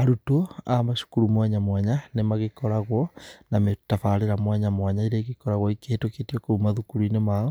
Arutwo a macukuru mwanya mwanya, nĩmagĩkoragwo na tabarĩra mwanya mwanya iria ĩgĩkoragwo ĩkĩhĩtũkĩtio kũu mathukuru-inĩ mao,